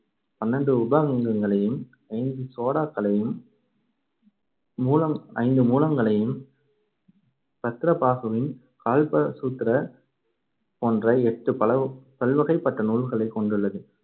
பன்னிரெண்டு உப அங்கங்களையும், ஐந்து சோடாக்களையும் மூலம் ஐந்து மூலங்களையும் பத்ரபாகுவின் கால்பசூத்ர போன்ற எட்டு பல~ பல்வகைப்பட்ட நூல்களை கொண்டுள்ளது.